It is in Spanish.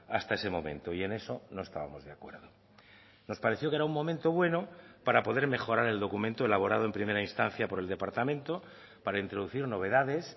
hasta ese momento y en eso no estábamos de acuerdo nos pareció que era un momento bueno para poder mejorar el documento elaborado en primera instancia por el departamento para introducir novedades